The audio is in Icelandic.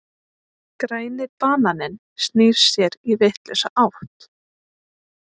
Græni bananinn snýr sér í vitlausa átt.